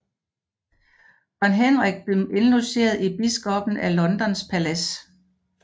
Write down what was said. Kong Henrik blev indlogeret i biskoppen af Londons palads